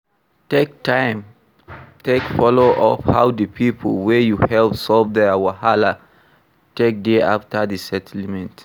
Take time take follow up how di pipo wey you help solve their wahala take dey after the settlement